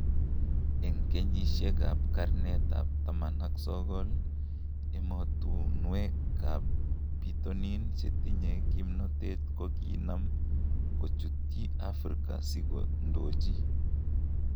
En keyisiek ab karnet ab 19,emotuwek ab biitonin chetinye gimnotet koginaam gochutiy Afrika si kondoji.